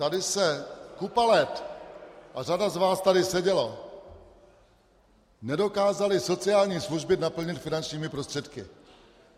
Tady se kupu let, a řada z vás tady seděla, nedokázaly sociální služby naplnit finančními prostředky.